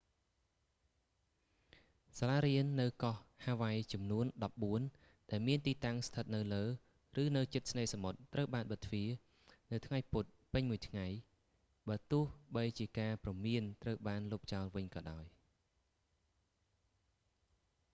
សាលារៀននៅកោះហាវ៉ៃចំនួន ដប់បួន ដែលមានទីតាំងស្ថិតនៅលើ ឬនៅជិតឆ្នេរសមុទ្រ ត្រូវបានបិទទ្វារ នៅថ្ងៃពុធពេញមួយថ្ងៃ បើទោះបីជាការព្រមានត្រូវបានលុបចោលវិញក៏ដោយ